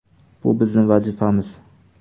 Bu bizning vazifamiz.